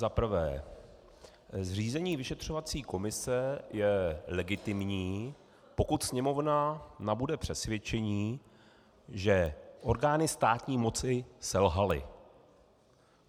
Za prvé, zřízení vyšetřovací komise je legitimní, pokud Sněmovna nabude přesvědčení, že orgány státní moci selhaly.